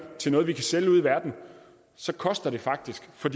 til noget vi kan sælge ude i verden så koster det faktisk for